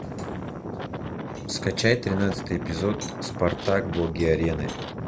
скачай тринадцатый эпизод спартак боги арены